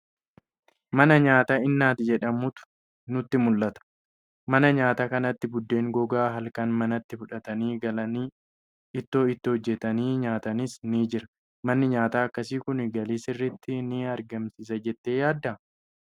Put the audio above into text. Mana nyaataa Innaat jedhamutu nutti mul'ata. Mana nyaataa kanatti buddeen gogaan halkan manatti fudhatanii galanii ittoo itti hojjetanii nyaatanis ni jira. Manni nyaataa akkasii kun galii sirriitti ni argamsiisa jettee yaaddaa?